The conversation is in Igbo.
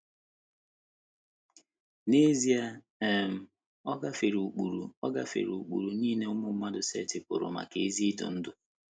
N’ezie, um ọ gafere ụkpụrụ ọ gafere ụkpụrụ nile ụmụ mmadụ setịpụrụ maka ezi idu ndú.